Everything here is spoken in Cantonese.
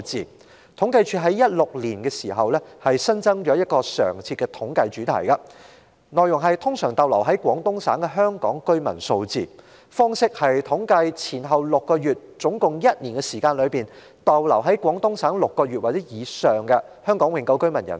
政府統計處於2016年起新增了一個常設的統計主題，內容關乎通常逗留在廣東省的香港居民數字，即在統計前後6個月、合共一年時間內，在廣東省逗留共6個月或以上的香港永久性居民人數。